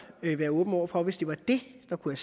være åben over for hvis det var det der kunne